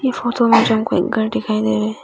ये फोटो में घर दिखाई दे रहे--